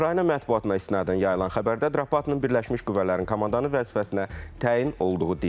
Ukrayna mətbuatına istinadən yayılan xəbərdə Drapıtının birləşmiş qüvvələrin komandanı vəzifəsinə təyin olduğu deyilir.